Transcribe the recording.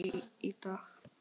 Lillý: Í dag?